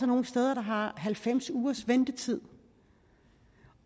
nogle steder der har halvfems ugers ventetid